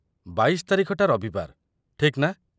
୨୨ ତାରିଖଟା ରବିବାର, ଠିକ୍ ନା?